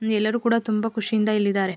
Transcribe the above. ಇಲ್ಲಿ ಎಲ್ಲರು ಕೂಡ ತುಂಬಾ ಖುಷಿಯಿಂದ ಇಲ್ಲಿ ಇದ್ದಾರೆ.